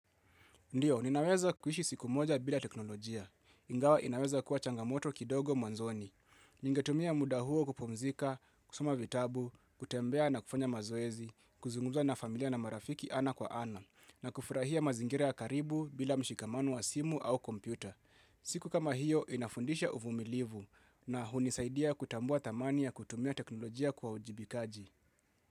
Ndiyo, ninaweza kuishi siku moja bila teknolojia, ingawa inaweza kuwa changamoto kidogo mwanzoni. Ningetumia muda huo kupumzika, kusoma vitabu, kutembea na kufanya mazoezi, kuzunguka na familia na marafiki ana kwa ana, na kufurahia mazingira ya karibu bila mshikamano wa simu au kompyuta. Siku kama hiyo inafundisha uvumilivu na hunisaidia kutambua thamani ya kutumia teknolojia kwa uajibikaji.